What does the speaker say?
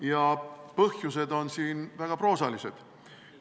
Ja põhjused on väga proosalised.